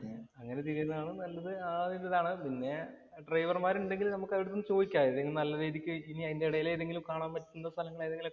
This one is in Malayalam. അങ്ങനെ തിരിയുന്നതാണ് നല്ലത്. പിന്നെ ഡ്രൈവര്‍മാര്‍ ഉണ്ടെങ്കിൽ നമുക്ക് അവരോട് ഒന്ന് ചോദിക്കാം. ഏതെങ്കിലും നല്ല രീതിക്ക് ഇനി അതിന്‍റെ എടയില് കാണാന്‍ പറ്റുന്ന സ്ഥലങ്ങള്‍ ഏതെങ്കിലും